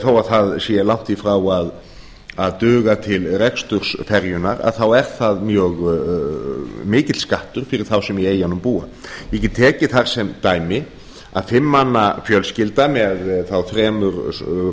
þó að það sé langt í frá að duga til reksturs ferjunnar þá er það mikill skattur fyrir þá sem í eyjum búa ég get tekið þar sem dæmi að fimm manna fjölskylda með þremur